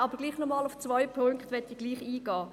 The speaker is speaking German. Trotzdem möchte ich noch einmal auf zwei Punkte eingehen.